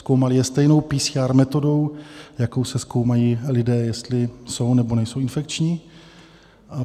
Zkoumali je stejnou PCR metodou, jakou se zkoumají lidé, jestli jsou, nebo nejsou infekční.